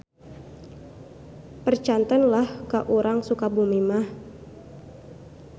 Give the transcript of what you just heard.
Percanten lah ka urang Sukabumi mah.